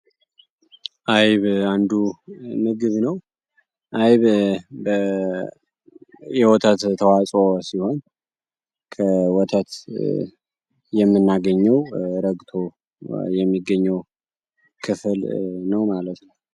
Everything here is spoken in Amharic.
አይብ አንዱ ምግብ ነው። አይብ የወተት ተዋፅኦ ሲሆን፤ ከወተት የምናገኘውረግቶ የሚገኘው ክፍል ነው ማለት ነው።